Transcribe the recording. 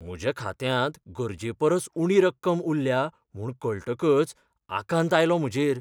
म्हज्या खात्यांत गरजेपरस उणी रक्कम उल्ल्या म्हूण कळटकच आकांत आयलो म्हजेर.